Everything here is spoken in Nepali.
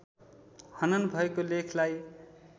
हनन् भएको लेखलाई